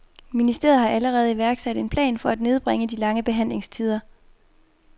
Ministeriet har allerede iværksat en plan for at nedbringe de lange behandlingstider.